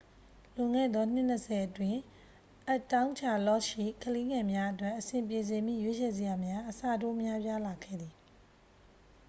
လွန်ခဲ့သော နှစ် 20 အတွင်း အပ်တောင်းချာလော့တ်ရှိ ကလေးငယ်များအတွက် အဆင်ပြေစေမည့် ရွေးချယ်စရာများ အဆတိုးများပြားလာခဲ့သည်